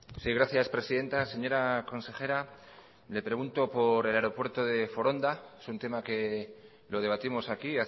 sí gracias presidenta señora consejera le pregunto por el aeropuerto de foronda es un tema que lo debatimos aquí